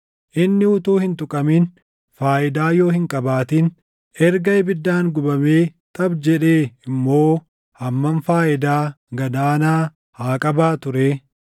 Inni utuu hin tuqamin faayidaa yoo hin qabaatin, erga ibiddaan gubamee xaphi jedhee immoo hammam faayidaa gad aanaa haa qabaatuu ree?